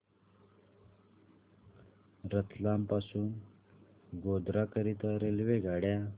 रतलाम पासून गोध्रा करीता रेल्वेगाड्या